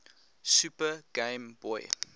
super game boy